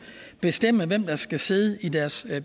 bestemme hvem der skal sidde i deres